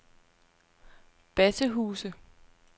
Bassehuse